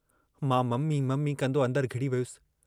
मां mummy mummy कंदो अंदरु घिड़ी वियुसि।